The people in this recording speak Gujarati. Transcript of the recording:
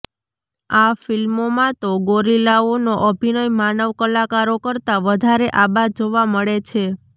આ ફિલ્મોમાં તો ગોરિલાઓનો અભિનય માનવ કલાકારો કરતાં વધારે આબાદ જોવા મળે છે